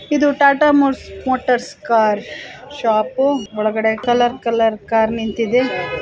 ಇದು Tata Motors car shop ಒಳಗಳೆ colour colour car ನಿಂತಿದೆ.